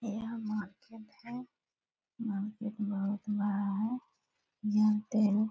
यह मार्केट है मार्केट बहुत बड़ा है --